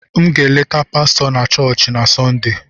M ga-eleta pastọ na chọọchị na sonde